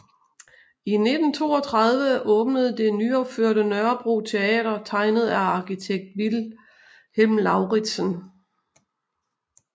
I 1932 åbnede det nyopførte Nørrebro Teater tegnet af arkitekt Vilhelm Lauritzen